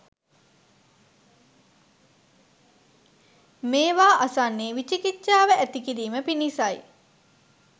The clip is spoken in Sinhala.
මේවා අසන්නේ විචිකිච්චාව ඇති කිරීම පිණිසයි.